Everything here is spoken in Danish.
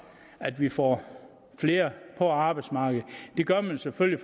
at vi får flere på arbejdsmarkedet det gør man selvfølgelig